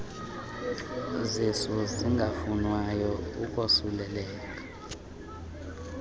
zisu zingafunwayo ukosuleleka